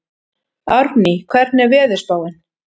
Árný, hvernig er veðurspáin?